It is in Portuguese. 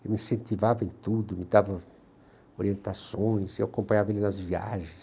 Ele me incentivava em tudo, me dava orientações, eu acompanhava ele nas viagens.